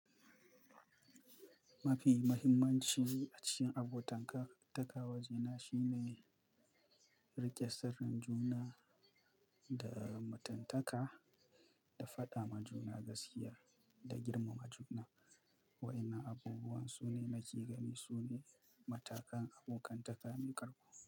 Mafi muhimmanci a cikin abotan-taka waje na shine rike sirrin juna da matantaka, da faɗa ma juna gaskiya da girmama juna, waƴannan abubuwan su ne nake gani su ne matakan abokantaka mai ƙarfi.